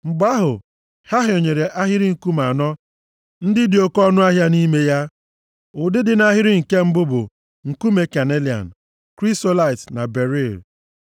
Mgbe ahụ, ha hịọnyere ahịrị nkume anọ ndị dị oke ọnụahịa nʼime ya. Ụdị dị nʼahịrị nke mbụ bụ: nkume kanelian, krisolaịt na beril,